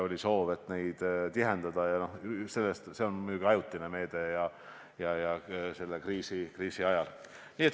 Oli soov sealseid liine tihendada, aga see on muidugi ajutine meede ja piirdub selle kriisi ajaga.